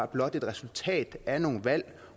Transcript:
blot et resultat af nogle valg